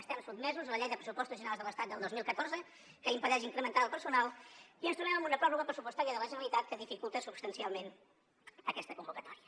estem sotmesos a la llei de pressupostos generals de l’estat del dos mil catorze que impedeix incrementar el personal i ens trobem amb una pròrroga pressupostària de la generalitat que dificulta substancialment aquesta convocatòria